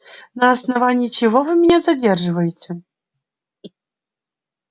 на основании чего вы меня задерживаете